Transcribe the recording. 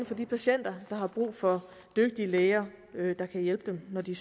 for de patienter der har brug for dygtige læger der kan hjælpe dem når de